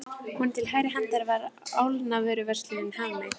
Honum til hægri handar var álnavöruverslunin Hafmey.